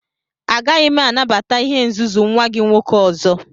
Agaghị m anabata ihe nzuzu nwa gị nwoke ọzọ!